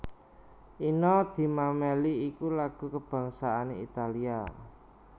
Inno di Mameli iku lagu kabangsané Italia